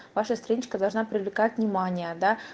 ваша страничка должна привлекать внимание да